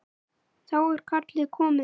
Þá er kallið komið.